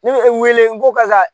Ne bɛ n wele n ko karisa